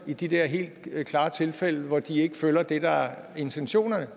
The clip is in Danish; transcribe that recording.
i de der helt klare tilfælde hvor de ikke følger det der er intentionerne